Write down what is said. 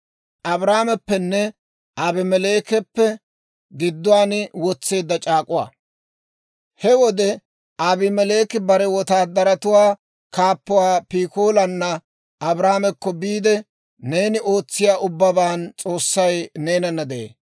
He wode, Abimeleeki bare wotaadaratuwaa kaappuwaa Pikoolaana Abrahaamekko biide, «Neeni ootsiyaa ubbaban S'oossay neenana de'ee.